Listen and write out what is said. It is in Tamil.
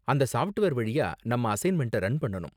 அந்த சாஃப்ட்வேர் வழியா நம்ம அசைன்மெண்ட்ட ரன் பண்ணனும்